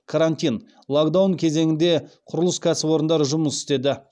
карантин локдаун кезеңінде құрылыс кәсіпорындары жұмыс істеді